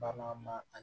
Ba ma a